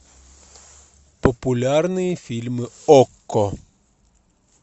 популярные фильмы окко